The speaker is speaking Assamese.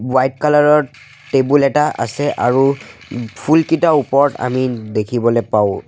হোৱাইট কালাৰ ৰ টেবুল এটা আছে আৰু ফুলকিটা ওপৰত আমি দেখিবলৈ পাওঁ।